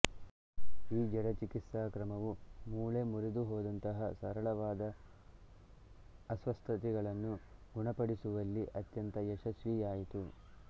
ಈ ಜಡ ಚಿಕಿತ್ಸಾಕ್ರಮವು ಮೂಳೆ ಮುರಿದುಹೋದಂತಹ ಸರಳವಾದ ಅಸ್ವಸ್ಥತೆಗಳನ್ನು ಗುಣಪಡಿಸುವಲ್ಲಿ ಅತ್ಯಂತ ಯಶಸ್ವಿಯಾಯಿತು